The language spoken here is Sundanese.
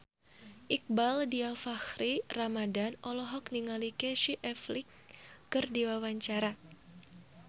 Iqbaal Dhiafakhri Ramadhan olohok ningali Casey Affleck keur diwawancara